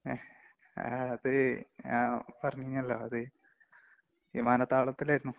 ങ്ങ്ഹേ, അത് ആ പറഞ്ഞല്ലോ അത്. വിമാനത്താവളത്തില്‍ ആയിരുന്നു.